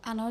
Ano.